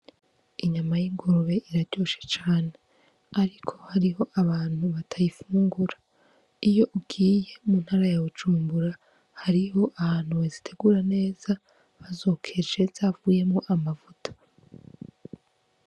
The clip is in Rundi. Inyama y' ingurube iraryoshe cane ariko hariho abantu batayifungura, iyo ugiye mu ntara ya Bujumbura hariho ahantu bazitegura neza bazokeje zavuyemwo amavuta.